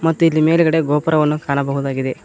ಮತ್ತು ಇಲ್ಲಿ ಮೇಲ್ಗಡೆ ಗೋಪುರವನ್ನು ಕಾಣಬಹುದಾಗಿದೆ.